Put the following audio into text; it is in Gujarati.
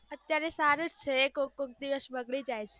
અત્યારે સારું છે કોક કોક દિવસ બગડી જાય